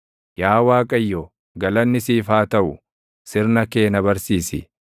Yaa Waaqayyo, galanni siif haa taʼu; sirna kee na barsiisi.